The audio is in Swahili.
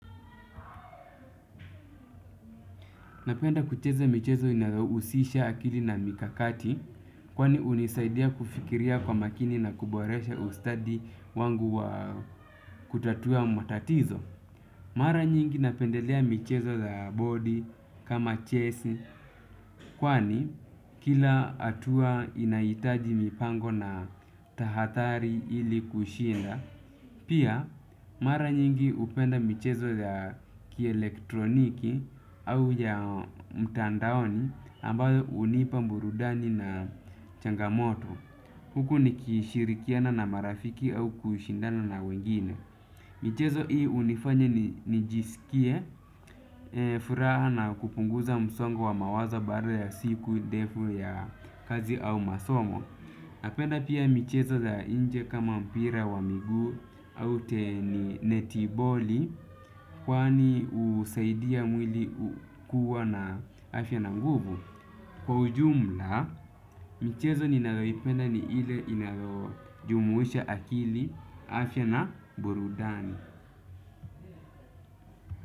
Napenda kucheza michezo inayohusisha akili na mikakati kwani hunisaidia kufikiria kwa makini na kuboresha ustadi wangu wa kutatua matatizo. Mara nyingi napendelea michezo za body kama chess kwani kila hatua inahitaji mipango na tahadhari ili kushinda. Pia, mara nyingi hupenda michezo ya kielektroniki au ya mtandaoni ambayo hunipa burudani na changamoto. Huku nikishirikiana na marafiki au kushindana na wengine. Michezo hii hunifanya nijisikie, furaha na kupunguza msongo wa mawazo baada ya siku, ndefu ya kazi au masomo. Napenda pia michezo za nje kama mpira wa miguu au teni netiboli kwani husaidia mwili kuwa na afya na nguvu. Kwa ujumla, michezo ninayoipenda ni ile inajumuisha akili afya na burudani.